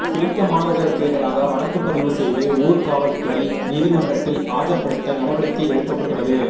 பிடித்த மீனவர்களுக்கு எதிராக வழக்கு பதிவு செய்து ஊர்காவற்றுறை நீதிமன்றத்தில் ஆஜர்படுத்த நடவடிக்கை எடுக்கப்பட்டுள்ளது